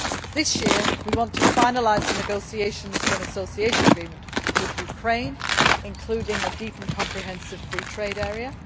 This year we want to finalise negotiations for an association agreement with Ukraine, including a deep and comprehensive free trade area.